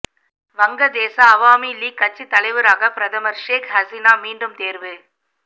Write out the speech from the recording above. வங்கதேச அவாமி லீக் கட்சி தலைவராக பிரதமர் ஷேக் ஹசினா மீண்டும் தேர்வு